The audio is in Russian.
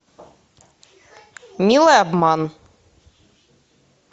милый обман